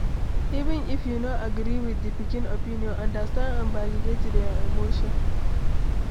Even if you no agree with di pikin opinion, understand and validate their emotion